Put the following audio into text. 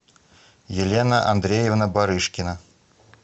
елена андреевна барышкина